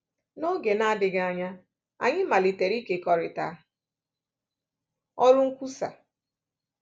N’oge na-adịghị anya, anyị malitere ikekọrịta ọrụ nkwusa.